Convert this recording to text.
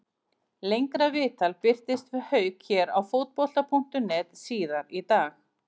Lengra viðtal birtist við Hauk hér á Fótbolta.net síðar í dag.